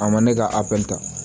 A ma ne ka apita